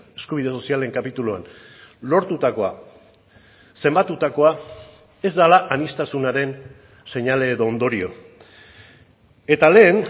eskubide sozialen kapituluan lortutakoa zenbatutakoa ez dela aniztasunaren seinale edo ondorio eta lehen